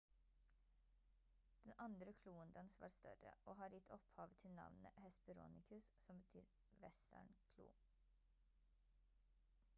den andre kloen dens var større og har gitt opphavet til navnet hesperonychus som betyr «vestern-klo»